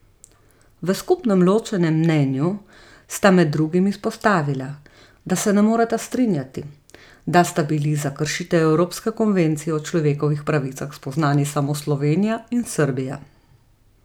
V skupnem ločenem mnenju sta med drugim izpostavila, da se ne moreta strinjati, da sta bili za kršitev evropske konvencije o človekovih pravicah spoznani samo Slovenija in Srbija.